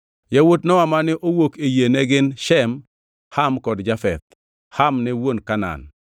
Yawuot Nowa mane owuok e yie ne gin: Shem, Ham kod Jafeth. (Ham ne wuon Kanaan.)